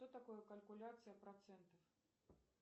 что такое калькуляция процентов